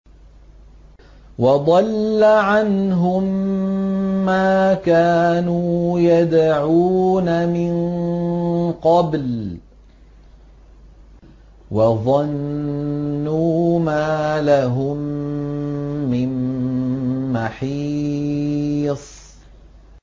وَضَلَّ عَنْهُم مَّا كَانُوا يَدْعُونَ مِن قَبْلُ ۖ وَظَنُّوا مَا لَهُم مِّن مَّحِيصٍ